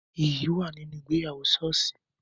Iyì wà nínú ìgbéyàwó soosi